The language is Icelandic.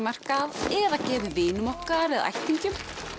nytjamarkað eða gefið vinum okkar eða ættingjum